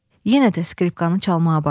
Yenə də skripkanı çalmağa başladı.